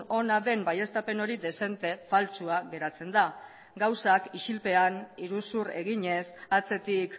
ona den baieztapen hori dezente faltsua geratzen da gauzak isilpean iruzur eginez atzetik